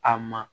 A ma